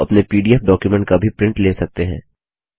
आप अपने PDF document का भी प्रिंट ले सकते हैं